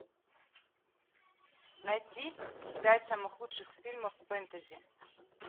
найти пять самых лучших фильмов фэнтези